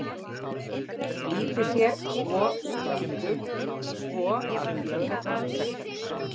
Flýtir sér svo út aftur svo að lögreglan sekti hann ekki.